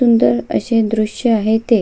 सुंदर असे दृश आहे ते.